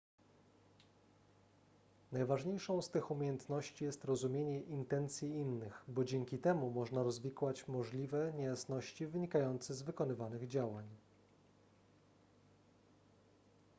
najważniejszą z tych umiejętności jest rozumienie intencji innych bo dzięki temu można rozwikłać możliwe niejasności wynikające z wykonywanych działań